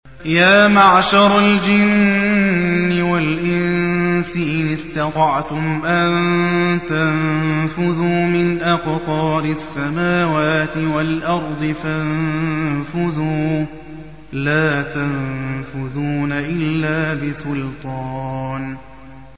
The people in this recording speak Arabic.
يَا مَعْشَرَ الْجِنِّ وَالْإِنسِ إِنِ اسْتَطَعْتُمْ أَن تَنفُذُوا مِنْ أَقْطَارِ السَّمَاوَاتِ وَالْأَرْضِ فَانفُذُوا ۚ لَا تَنفُذُونَ إِلَّا بِسُلْطَانٍ